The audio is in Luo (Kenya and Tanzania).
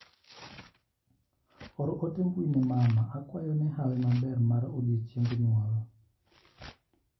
Or ote mbui ne mama akwayo ne hawi maber mar odiochieng' nyuol.